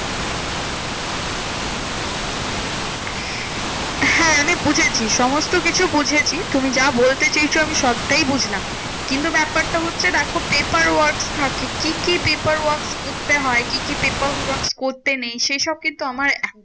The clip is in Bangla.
হ্যাঁ আমি বুঝেছি মসস্ত কিছু বুঝেছি। তুমি যা বলতে চেয়েছো আমি সবটাই বুঝলাম। কিন্তু ব্যাপারটা হচ্ছে দেখো, paper works থাকে। কি কি paper works করতে হয়? কি কি paper works করতে নেই? সেইসব কিন্তু আমার